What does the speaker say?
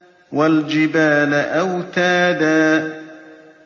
وَالْجِبَالَ أَوْتَادًا